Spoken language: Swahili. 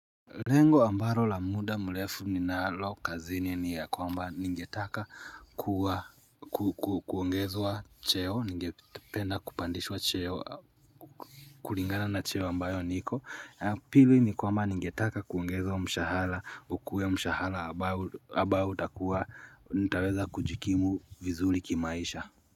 Lengo ambaro la muda mlefu ninalo kazini ni ya kwamba ningetaka kuwa kuongezwa cheo, ningependa kupandishwa cheo, kuringana na cheo ambayo niko, pili ni kwamba ningetaka kuongezwa mshahala, ukue mshahala abao utakuwa, nitaweza kujikimu vizuli kimaisha.